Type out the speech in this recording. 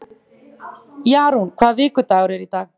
Jarún, hvaða vikudagur er í dag?